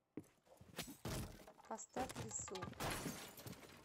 поставь лису